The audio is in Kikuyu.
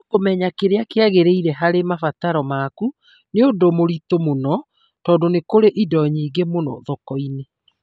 No kũmenya kĩrĩa kĩagĩrĩire harĩ mabataro maku nĩ ũndũ mũritũ mũno tondũ nĩ kũrĩ indo nyingĩ mũno thoko-inĩ.